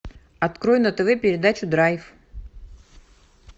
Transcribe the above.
открой на тв передачу драйв